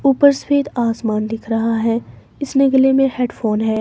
ऊपर सफेद आसमान दिख रहा है इसने गले में हेडफोन है।